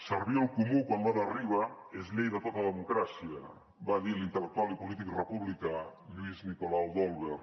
servir el comú quan l’hora arriba és llei de tota democràcia va dir l’intel·lectual i polític republicà lluís nicolau d’olwer